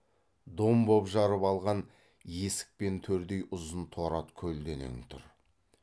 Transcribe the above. дом боп жарып алған есік пен төрдей ұзын торы ат көлденең тұр